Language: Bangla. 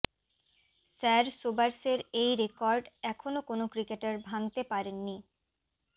স্যার সোবার্সের এই রেকর্ড এখনও কোনও ক্রিকেটার ভাঙতে পারেননি